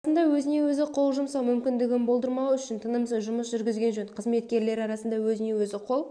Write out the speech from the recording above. арасында өзіне-өзі қол жұмсау мүмкіндігін болдырмау үшін тынымсыз жұмыс жүргізген жөн қызметкерлері арасында өзіне-өзі қол